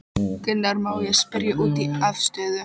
Gunnar: Má ég spyrja út í afstöðu?